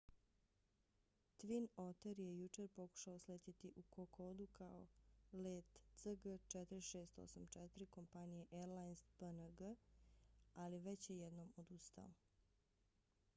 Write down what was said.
twin otter je jučer pokušao sletjeti u kokodu kao let cg4684 kompanije airlines png ali već je jednom odustao